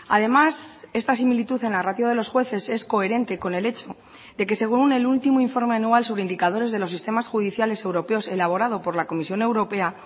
además esta similitud en la ratio de los jueces es coherente con el hecho de que según el último informe anual sobre indicadores de los sistemas judiciales europeos elaborado por la comisión europea